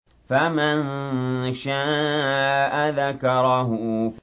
فَمَن شَاءَ ذَكَرَهُ